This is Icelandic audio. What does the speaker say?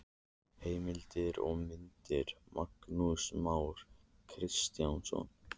Heimildir og myndir: Magnús Már Kristjánsson.